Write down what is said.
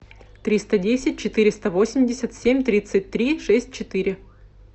триста десять четыреста восемьдесят семь тридцать три шесть четыре